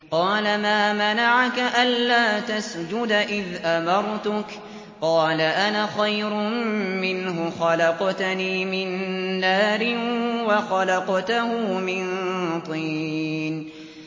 قَالَ مَا مَنَعَكَ أَلَّا تَسْجُدَ إِذْ أَمَرْتُكَ ۖ قَالَ أَنَا خَيْرٌ مِّنْهُ خَلَقْتَنِي مِن نَّارٍ وَخَلَقْتَهُ مِن طِينٍ